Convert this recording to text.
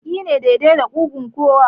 Walƙi ne daidai da ƙugun kowa